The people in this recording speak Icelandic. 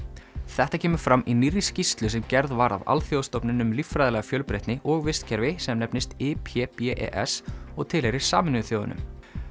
þetta kemur fram í nýrri skýrslu sem gerð var af alþjóðastofnun um líffræðilega fjölbreytni og vistkerfi sem nefnist IPBES og tilheyrir Sameinuðu þjóðunum